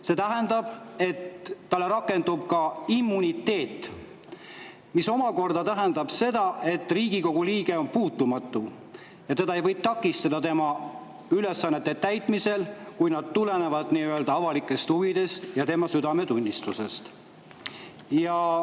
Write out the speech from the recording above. See tähendab, et talle rakendub immuniteet, mis omakorda tähendab seda, et Riigikogu liige on puutumatu ja teda ei või takistada tema ülesannete täitmisel, kui need tulenevad avalikest huvidest ja tema südametunnistusest.